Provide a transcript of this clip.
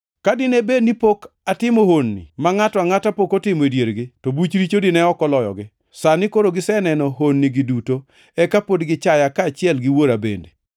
Ka dine bed ni ne pok atimo honni ma ngʼato angʼata pok otimo e diergi, to buch richo dine ok oloyogi, to sani koro giseneno honnigi duto, eka pod gichaya kaachiel gi Wuora bende.